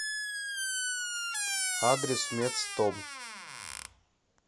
адрес медстом